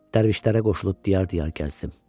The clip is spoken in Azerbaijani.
Dərvişlərə qoşulub diyar-diyar gəzdim.